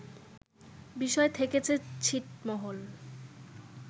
বিষয় থেকেছে ছিটমহল